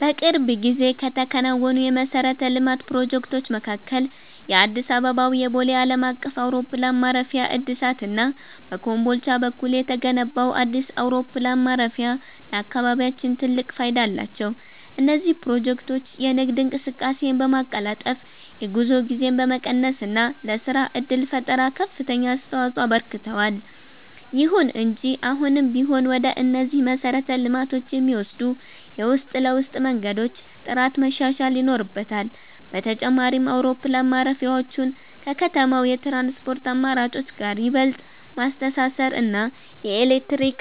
በቅርብ ጊዜ ከተከናወኑ የመሠረተ ልማት ፕሮጀክቶች መካከል የአዲስ አበባው የቦሌ ዓለም አቀፍ አውሮፕላን ማረፊያ እድሳት እና በኮምቦልቻ በኩል የተገነባው አዲስ አውሮፕላን ማረፊያ ለአካባቢያችን ትልቅ ፋይዳ አላቸው። እነዚህ ፕሮጀክቶች የንግድ እንቅስቃሴን በማቀላጠፍ፣ የጉዞ ጊዜን በመቀነስ እና ለሥራ ዕድል ፈጠራ ከፍተኛ አስተዋፅኦ አበርክተዋል። ይሁን እንጂ አሁንም ቢሆን ወደ እነዚህ መሰረተ ልማቶች የሚወስዱ የውስጥ ለውስጥ መንገዶች ጥራት መሻሻል ይኖርበታል። በተጨማሪም፣ አውሮፕላን ማረፊያዎቹን ከከተማው የትራንስፖርት አማራጮች ጋር ይበልጥ ማስተሳሰር እና የኤሌክትሪክ